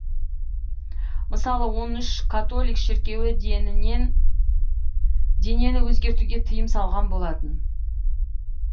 мысалы он үш католик шіркеуі денені өзгертуге тыйым салған болатын